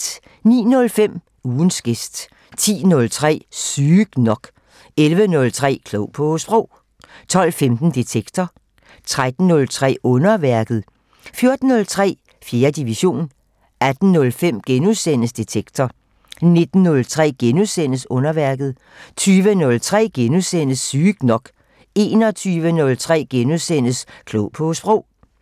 09:05: Ugens gæst 10:03: Sygt nok 11:03: Klog på Sprog 12:15: Detektor 13:03: Underværket 14:03: 4. division 18:05: Detektor * 19:03: Underværket * 20:03: Sygt nok * 21:03: Klog på Sprog *